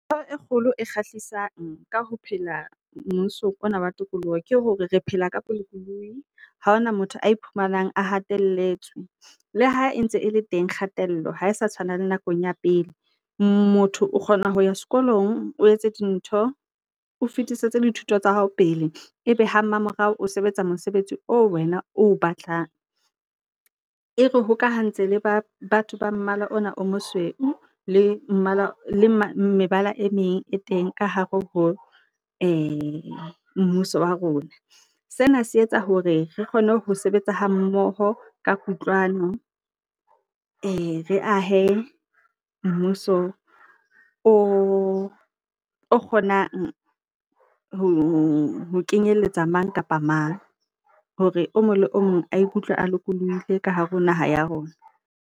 Ntho e kgolo e kgahlisang ka ho phela mmusong ona wa tokoloho ke hore re phela ka bolokolohi, ha hona motho a iphumanang a hatelletswe. Le ha e ntse e le teng kgatello, ha e sa tshwana le nakong ya pele. Motho o kgona ho ya sekolong, o etse dintho, o fetisetse dithuto tsa hao pele e be ha mamorao o sebetsa mosebetsi o wena o batlang. E re hokahantse le batho ba mmala ona o mosweu le mebala e meng e teng ka hare ho mmuso wa rona. Sena se etsa hore re kgone ho sebetsa ha mmoho ka kutlwano, re ahe mmuso o kgonang ho kenyeletsa mang kapa mang hore o mong le o mong a ikutlwe a lokolohile ka hare ho naha ya rona.